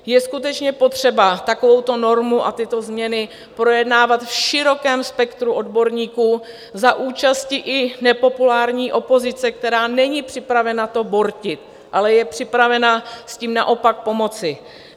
Je skutečně potřeba takovouto normu a tyto změny projednávat v širokém spektru odborníků za účasti i nepopulární opozice, která není připravena to bortit, ale je připravena s tím naopak pomoci.